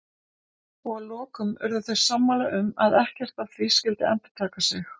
Og að lokum urðu þau sammála um að ekkert af því skyldi endurtaka sig.